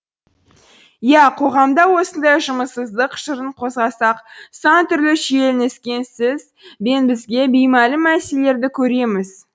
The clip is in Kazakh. иә қоғамда осындай жұмыссыздық жырын қозғасақ сан түрлі шиеленіскен сіз бен бізге беймәлім мәселелерді көреміз